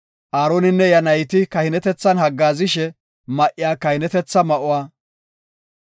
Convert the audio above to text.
Aaroninne iya nayti kahinetethan haggaazishe ma7iya kahinetetha ma7uwa,